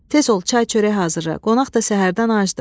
Tez ol, çay çörək hazırla, qonaq da səhərdən acdır.